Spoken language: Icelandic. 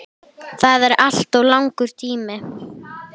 Það er alltof langur tími.